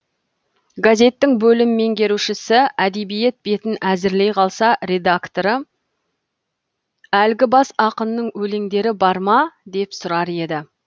газеттің бөлім меңгерушісі әдебиет бетін әзірлей қалса редакторы әлгі бас ақынның өлеңдері бар ма деп сұрар еді